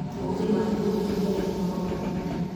Onge mar kodhi mabeyo moromo